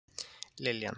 Liljan